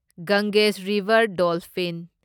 Ganges river dolphin